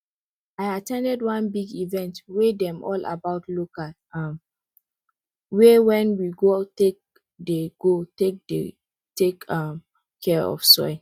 i at ten d one big event wey dey all about local um way wen we go take dey go take dey take um care of soil